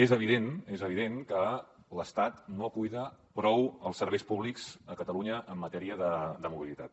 és evident és evident que l’estat no cuida prou els serveis públics a catalunya en matèria de mobilitat